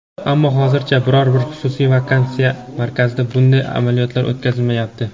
Ammo hozircha biror bir xususiy vaksinatsiya markazida bunday amaliyotlar o‘tkazilmayapti.